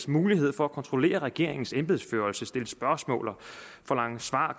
mulighed for at kontrollere regeringens embedsførelse altså stille spørgsmål og forlange svar